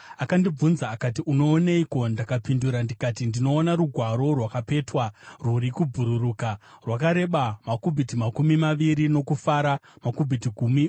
Akandibvunza akati, “Unooneiko?” Ndakapindura ndikati, “Ndinoona rugwaro rwakapetwa rwuri kubhururuka, rwakareba makubhiti makumi maviri nokufara makubhiti gumi .”